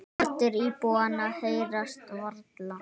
Raddir íbúanna heyrast varla.